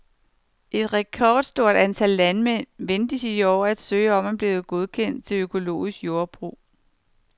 Et rekordstort antal landmænd ventes i år at søge om at blive godkendt til økologisk jordbrug.